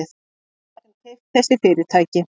Við gætum keypt þessi fyrirtæki.